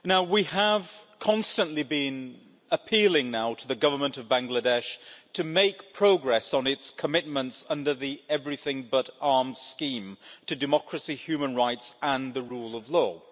We have constantly been appealing to the Government of Bangladesh to make progress on its commitments under the Everything but Arms scheme, to democracy, human rights and the rule of law.